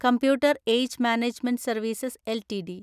computer age management services LTD